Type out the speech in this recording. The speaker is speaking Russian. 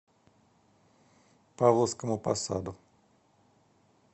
павловскому посаду